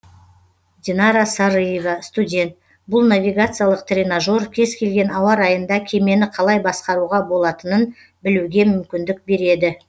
динара сарыева студент бұл навигациялық тренажер кез келген ауа райында кемені қалай басқаруға болатынын білуге мүмкіндік береді